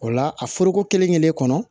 O la a foroko kelen-kelen kɔnɔ